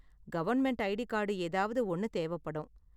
Government ID card ஏதாவது ஒன்னு தேவைப்படும்.